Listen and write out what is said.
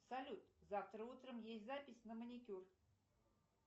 салют завтра утром есть запись на маникюр